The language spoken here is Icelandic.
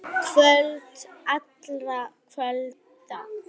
Kvöld allra kvölda.